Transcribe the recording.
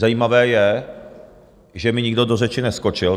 Zajímavé je, že mi nikdo do řeči neskočil.